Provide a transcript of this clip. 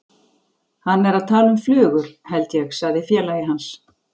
Hann er að tala um flugur, held ég sagði félagi hans.